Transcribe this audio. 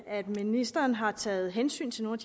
at ministeren har taget hensyn til nogle